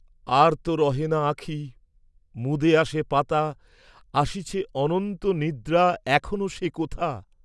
আর ত রহে না আঁখি, মুদে আসে পাতা, আসিছে অনন্ত নিদ্রা এখনো সে কোথা?